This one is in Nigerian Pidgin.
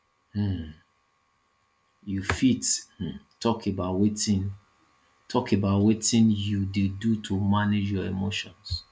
um you fit um talk about wetin talk about wetin you dey do to manage your emotions